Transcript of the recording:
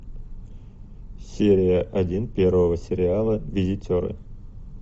серия один первого сериала визитеры